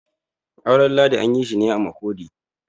auren ladi an yi shi ne a Makurdi